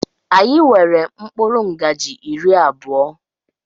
Anyị nwere mkpụrụ ngaji iri abụọ.